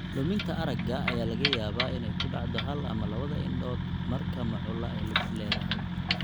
Luminta aragga ayaa laga yaabaa inay ku dhacdo hal ama labada indhood marka macula ay lug ku leedahay.